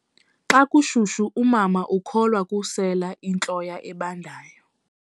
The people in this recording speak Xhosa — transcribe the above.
Xa kushushu umama ukholwa kukusela intloya ebandayo.